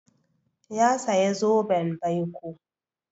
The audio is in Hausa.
Ya saya zoben baiko.